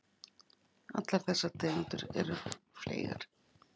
Allar þessar tegundir eru fleygar.